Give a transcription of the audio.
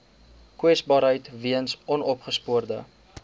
kwesbaarheid weens onopgespoorde